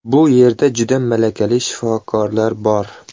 Bu yerda juda malakali shifokorlar bor.